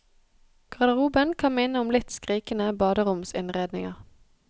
Garderoben kan minne om litt skrikende baderomsinnredninger.